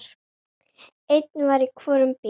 Einn var í hvorum bíl.